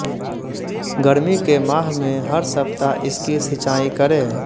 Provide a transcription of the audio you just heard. गर्मी के माह में हर सप्ताह इसकी सिंचाई करें